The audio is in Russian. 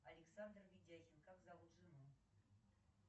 александр ведяхин как зовут жену